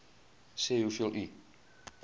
sê hoeveel u